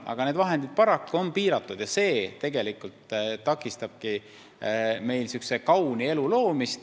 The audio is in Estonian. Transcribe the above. Aga need vahendid on paraku piiratud ja see takistabki meil kauni elu loomist.